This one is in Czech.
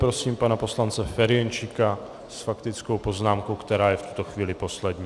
Prosím pana poslance Ferjenčíka s faktickou poznámkou, která je v tuto chvíli poslední.